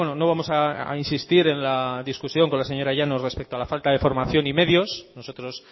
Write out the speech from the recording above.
no vamos a insistir en la discusión con la señora llanos respecto a la falta de formación y medios nosotros